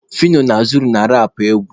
Fino na Zoro na-arapụ egwu.